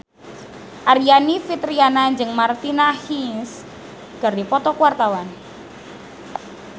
Aryani Fitriana jeung Martina Hingis keur dipoto ku wartawan